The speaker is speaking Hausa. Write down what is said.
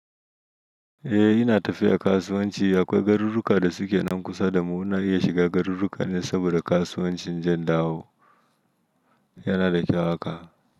Eh ina tafiya kasuwanci akwai garuruka da suke nan kusa da mu muna iya shiga garuruka ne saboda kasuwancin in je in dawo yana da kyau haka.